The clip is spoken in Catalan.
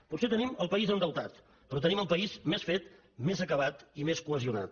potser tenim el país endeutat però tenim el país més fet més acabat i més cohesionat